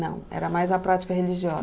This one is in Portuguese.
Não, era mais a prática religiosa.